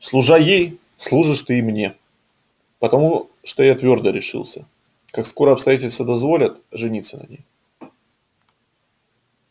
служа ей служишь ты и мне потому что я твёрдо решился как скоро обстоятельства дозволят жениться на ней